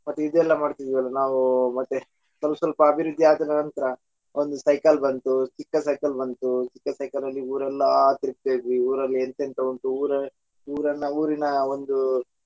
ಮತ್ತೆ ಇದು ಎಲ್ಲಾ ಮಾಡ್ತಿದೀವಿ ನಾವು ಮತ್ತೆ ಸ್ವಲ್ಪ ಸ್ವಲ್ಪ ಅಭಿವೃದ್ದಿ ಆದ ನಂತರ ಒಂದು ಸೈಕಲ್ ಬಂತು ಚಿಕ್ಕ ಸೈಕಲ್ ಬಂತು ಚಿಕ್ಕ ಸೈಕಲ್ ಅಲ್ಲಿ ಊರೆಲ್ಲ ತಿರಗ್ತಾ ಇದ್ವಿ ಊರಲ್ಲಿ ಎಂತೆಂತ ಉಂಟು ಊರ~ ಊರನ್ನ ಊರಿನ ಒಂದು .